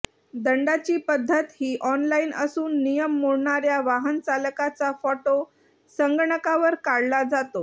दंडाची पद्धत ही ऑनलाईन असून नियम मोडणाऱ्या वाहन चालकाचा फोटो संगणकावर काढला जातो